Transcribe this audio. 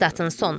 Statın sonu.